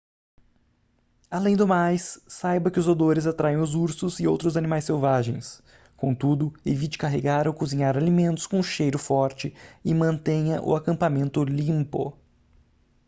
além do mais saiba que os odores atraem os ursos e outros animais selvagens contudo evite carregar ou cozinhar alimentos com cheiro forte e mantenha o acampamento limpo